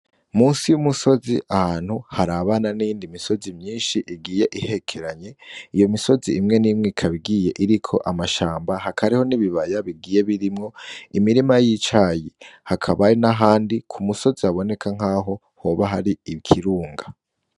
Musi y'umusozi ahantu har abana n'indi misozi myinshi igiye ihekeranye iyo misozi imwe n'imwe ikabigiye iriko amashamba hakariho nibibaya bigiye birimwo imirima yicaye hakabaye na handi ku musozi aboneka nk'aho hoba hari ikirunga.